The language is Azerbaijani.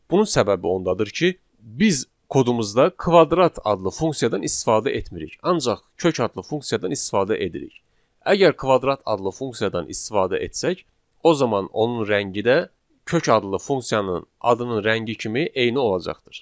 Bunun səbəbi ondadır ki, biz kodumuzda kvadrat adlı funksiyadan istifadə etmirik, ancaq kök adlı funksiyadan istifadə edirik. Əgər kvadrat adlı funksiyadan istifadə etsək, o zaman onun rəngi də kök adlı funksiyanın adının rəngi kimi eyni olacaqdır.